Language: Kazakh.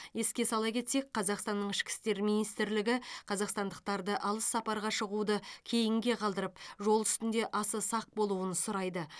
еске сала кетсек қазақстанның ішкі істер министрлігі қазақстандықтарды алыс сапарға шығуды кейінге қалдырып жол үстінде аса сақ болуын сұрайды